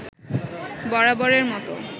বরাবরের মতো